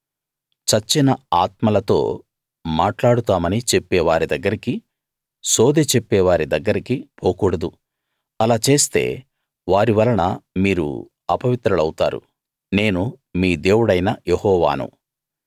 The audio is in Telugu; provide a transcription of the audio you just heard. చచ్చిన ఆత్మలతో మాట్లాడుతామని చెప్పే వారి దగ్గరికి సోదె చెప్పేవారి దగ్గరికి పోకూడదు అలా చేస్తే వారివలన మీరు అపవిత్రులౌతారు నేను మీ దేవుడైన యెహోవాను